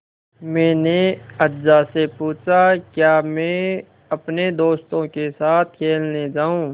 मैंने अज्जा से पूछा क्या मैं अपने दोस्तों के साथ खेलने जाऊँ